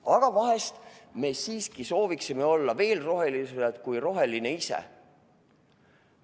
Aga vahest me siiski soovime olla veel rohelisemad kui roheline ise.